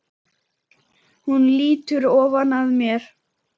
Hún lýtur ofan að mér.